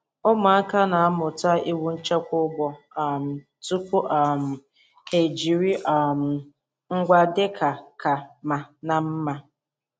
Ụmụaka na-amụta iwu nchekwa ugbo um tupu um ha ejiri um ngwa dị ka ka mma na mma.